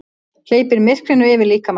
Hleypir myrkrinu yfir líkama þeirra.